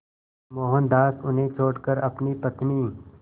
मोहनदास उन्हें छोड़कर अपनी पत्नी